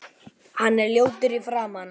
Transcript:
Hann er ljótur í framan.